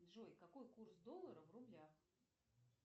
джой какой курс доллара в рублях